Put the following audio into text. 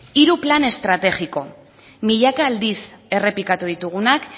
hiru plan estrategiko milaka aldiz errepikatu ditugunak